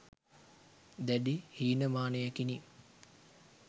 දැඩි හීනමානයකිනි.